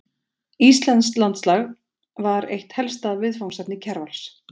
Íslenskt landslag var eitt helsta viðfangsefni Kjarvals.